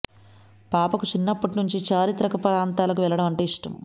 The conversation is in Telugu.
పాపకు చిన్నప్పటి నుంచి చారిత్రక ప్రాంతాలకు వెళ్లడం అంటే ఇష్టం